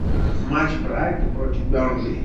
матч брайтон против бернли